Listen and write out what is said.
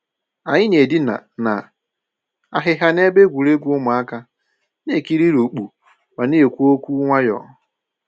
Anyị na-edina na ahịhịa n'ebe egwuregwu ụmụaka, na-ekiri urukpu ma na-ekwu okwu nwayọ.